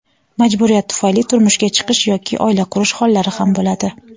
majburiyat tufayli turmushga chiqish yoki oila qurish hollari ham bo‘ladi.